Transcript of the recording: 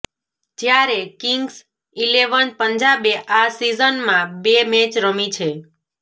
જ્યારે Kings Eleven પંજાબે આ સીઝનમાં બે મેચ રમી છે